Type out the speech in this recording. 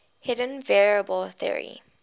hidden variable theory